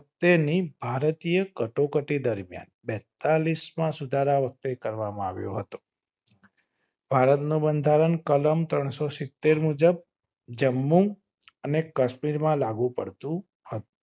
તેની ભારતીય કટોકટી દરમિયાન બેતાલીસ માં સુધારા વખતે કરવામાં આવ્યો હતો ભારત નું બંધારણ કલમ ત્રણસો સીતેર મુજબ જમ્મુ અને કશ્મીર માં લાગુ પડતું હતું